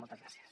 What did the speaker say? moltes gràcies